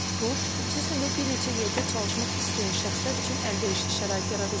Bu, xüsusən də bir neçə yerdə çalışmaq istəyən şəxslər üçün əlverişli şərait yaradacaq.